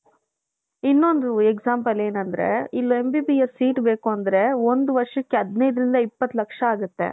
ಇನ್ನೊoದು example ಏನಂದ್ರೆ ಇಲ್ಲಿ MBBS seat ಬೇಕುಂದ್ರೆ ಒಂದ್ಹ ವರ್ಷಕ್ಕೆ ದಿನೈದರಿಂದ ಇಪ್ಪತ್ತು ಲಕ್ಷ ಆಗುತ್ತೆ .